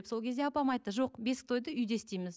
сол кезде апам айтты жоқ бесік тойды үйде істейміз